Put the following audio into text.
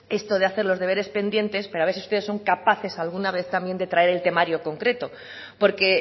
esto de hacer los deberes pendientes pero a ver si ustedes son capaces alguna vez también de traer el temario concreto porque